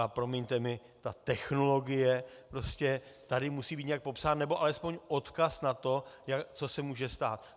A promiňte mi, ta technologie prostě tady musí být nějak popsána, nebo alespoň odkaz na to, co se může stát.